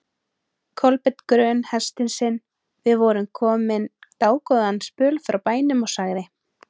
Kolbeinn grön hestinn sinn, við vorum komnir dágóðan spöl frá bænum, og sagði